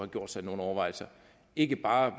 gjort sig nogle overvejelser ikke bare